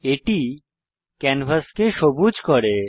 এটি ক্যানভাসকে সবুজ করে